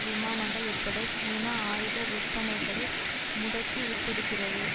விமானங்கள் உட்பட சீனா ஆயுத விற்பனைகளை முடக்கிவிட்டிருக்கிறது